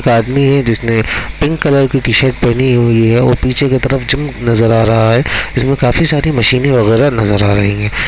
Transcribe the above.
एक आदमी है जिसने पिंक कलर की टी -शर्ट पहनी हुई है और पीछे की तरफ जिम नजर आ रहा हैंइसमें काफ़ी सारी मशीनॆ वगैरह नजर आ रही है।